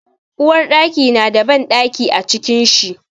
Uwarɗaki na da bandaki a cikin shi.